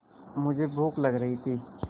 मुझे भूख लग रही थी